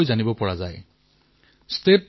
মই কেইটামান উদাহৰণ হে দিছো